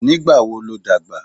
Nígbà wo ló dàgbà?